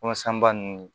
ninnu